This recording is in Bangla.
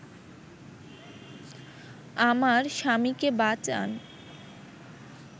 আমার স্বামীকে বাঁচান